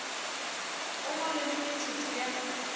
o ngole le metsotso ya